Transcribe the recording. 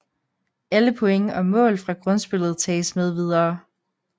Alle point og mål fra grundspillet tages med videre